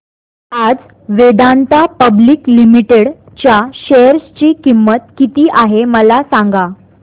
आज Vedanta public limited च्या share ची किंमत किती आहे मला सांगा